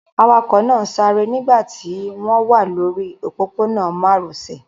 Awakọ̀ náà ń sáré nígbà tí wọ́n wà lórí òpópónà márosẹ̀.